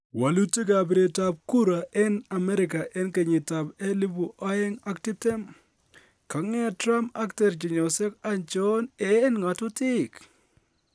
Wolutik ab biret ab kura en Amerika 2020: Kong'et Trump ak terchinosiek achon en ng'atutik?